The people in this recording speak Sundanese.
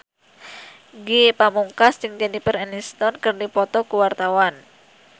Ge Pamungkas jeung Jennifer Aniston keur dipoto ku wartawan